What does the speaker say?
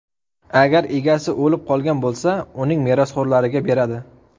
Agar egasi o‘lib qolgan bo‘lsa, uning merosxo‘rlariga beradi.